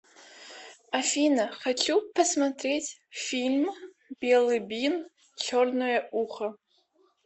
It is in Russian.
афина хочу посмотреть фильм белый бин черное ухо